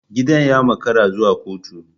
Gidan ya makara zuwa kotu.